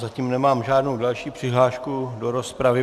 Zatím nemám žádnou další přihlášku do rozpravy.